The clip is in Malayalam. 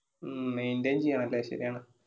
മ്മ് maintain ചെയ്യണല്ലേ ശരിയാണ്.